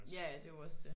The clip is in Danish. Ja ja det er jo også det